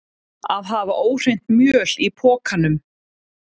Að hafa óhreint mjöl í pokanum